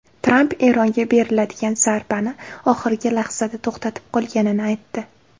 Tramp Eronga beriladigan zarbani oxirgi lahzada to‘xtatib qolganini aytdi.